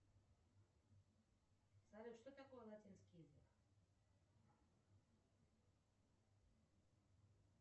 салют что такое латинский язык